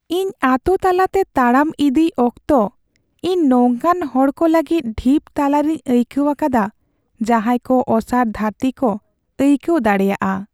ᱤᱧ ᱟᱛᱳ ᱛᱟᱞᱟᱛᱮ ᱛᱟᱲᱟᱢ ᱤᱫᱤᱭ ᱚᱠᱛᱚ, ᱤᱧ ᱱᱚᱝᱠᱟᱱ ᱦᱚᱲᱠᱚ ᱞᱟᱹᱜᱤᱫ ᱰᱷᱤᱯ ᱛᱟᱞᱟᱨᱮᱧ ᱟᱹᱭᱠᱟᱹᱣ ᱟᱠᱟᱫᱟ ᱡᱟᱦᱟᱭ ᱠᱚ ᱚᱥᱟᱨ ᱫᱷᱟᱹᱨᱛᱤ ᱠᱚ ᱟᱹᱭᱠᱟᱹᱣ ᱫᱟᱲᱮᱭᱟᱜᱼᱟ ᱾